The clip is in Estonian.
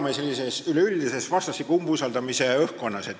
Me elame üleüldises vastastikuse umbusaldamise õhkkonnas.